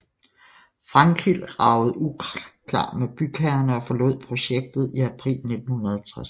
Frankild ragede uklar med bygherrerne og forlod projektet i april 1960